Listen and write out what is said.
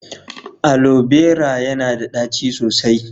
Alo berated yana da ɗaci sosai.